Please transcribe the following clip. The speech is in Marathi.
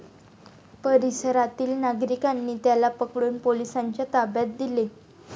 परिसरातील नागरिकांनी त्याला पकडून पोलिसांच्या ताब्यात दिले.